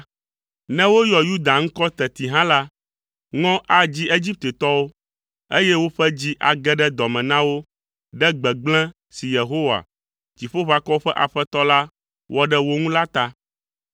Ne woyɔ Yuda ŋkɔ teti hã la, ŋɔ adzi Egiptetɔwo, eye woƒe dzi age ɖe dɔ me na wo ɖe gbegblẽ si Yehowa, Dziƒoʋakɔwo ƒe Aƒetɔ la, wɔ ɖe wo ŋu la ta.